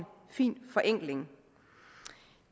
fin forenkling